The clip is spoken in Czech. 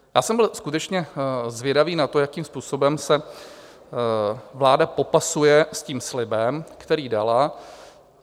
Já jsem byl skutečně zvědavý na to, jakým způsobem se vláda popasuje s tím slibem, který dala.